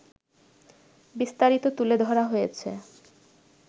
বিস্তারিত তুলে ধরা হয়েছে